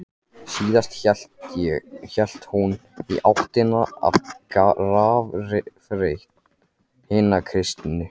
Síðan hélt hún í áttina að grafreit hinna kristnu.